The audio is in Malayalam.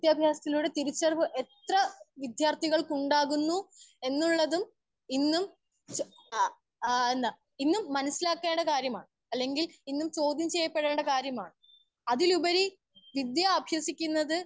സ്പീക്കർ 1 വിദ്യാഭ്യാസത്തിലൂടെ തിരിച്ചറിവ് എത്രെ വിദ്യാർത്ഥികൾക്ക് ഉണ്ടാകുന്നു എന്നുള്ളതും ഇന്നും അ എന്താ ഇന്നും മനസ്സിലാക്കേണ്ട കാര്യമാണ്. അല്ലെങ്കിൽ ഇന്നും ചോദ്യം ചെയ്യപ്പെടേണ്ട കാര്യമാണ്. അതിലുപരി വിദ്യാ അഭ്യസിക്കുന്നത്.